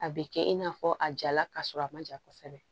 A bɛ kɛ i n'a fɔ a jala ka sɔrɔ a man ja kosɛbɛ